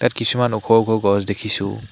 ইয়াত কিছুমান ওখ ওখ গছ দেখিছোঁ।